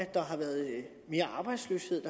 der har været mere arbejdsløshed